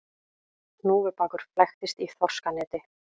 Hnúfubakur flæktist í þorskaneti